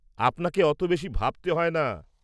আপনাকে অত বেশি ভাবতে হয়না!